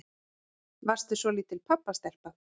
Varstu svolítil pabbastelpa?